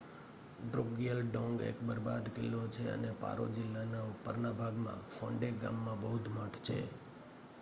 ડ્રુકગ્યલ ડોંગ એક બરબાદ કિલ્લો છે અને પારો જિલ્લાના ઉપરના ભાગમાં ફોન્ડે ગામમાં બૌદ્ધ મઠ છે